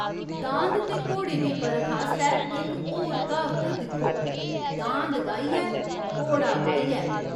दांद ते घोड़े दी परख आस्तै एह् इक होर क्हावत दिक्खो, दांद गाहियै, घोड़ा बाहियै।